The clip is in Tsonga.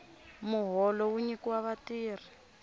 muholo wu nyikiwa vatirhi